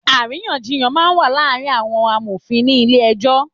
Àríyànjíyán má n wá làárin áwòn àmófin ni ilé èjò